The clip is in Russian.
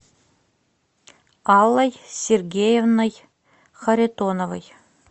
аллой сергеевной харитоновой